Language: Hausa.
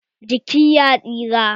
Jiki ya tsira.